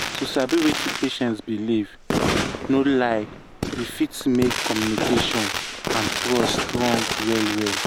to sabi wetin patient believe no lie e fit make communication and trust strong well well.